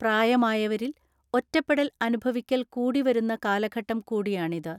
പ്രായമായവരിൽ ഒറ്റപ്പെടൽ അനുഭവിക്കൽ കൂടി വരുന്ന കാലഘട്ടം കൂടിയാണിത്.